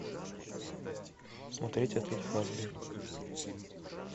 смотреть отель хазбин